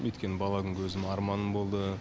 өйткені бала күнгі өзімнің арманым болды